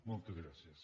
moltes gràcies